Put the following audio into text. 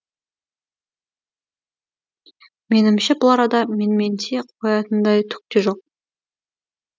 менімше бұл арада менменси қоятындай түк те жоқ